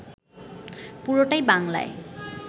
পুরোটাই বাংলায়